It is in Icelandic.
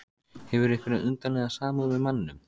Hefur einhverja undarlega samúð með manninum.